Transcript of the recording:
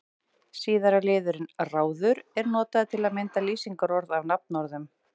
Síðara liðurinn-ráður er notaður til að mynda lýsingarorð af nafnorðum.